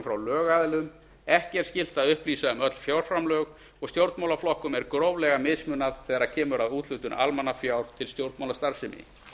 frá lögaðilum ekki er skylt að upplýsa um öll fjárframlög og stjórnmálaflokkum er gróflega mismunað þegar kemur að úthlutun almannafjár til stjórnmálastarfsemi